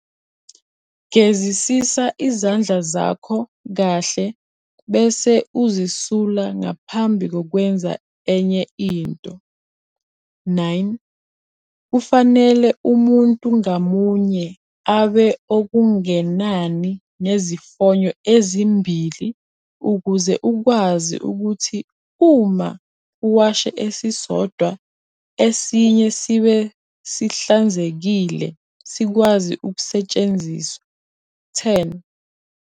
Gezisisa izandla zakho kahle bese uzisula ngaphambi kokwenza enye into. 9. Kufanele umuntu ngamunye abe okungenani nezifonyo ezimbili ukuze ukwazi ukuthi uma uwashe esisodwa esinye sibe sihlanzekile sikwazi ukusetshenziswa. 10.